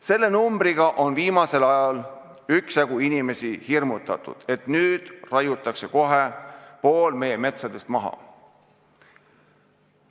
Selle numbriga on viimasel ajal inimesi üksjagu hirmutatud, et nüüd raiutakse kohe pool meie metsadest maha.